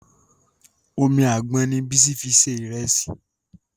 Omi àgbọn ni Bísí fi ṣe ìrẹsì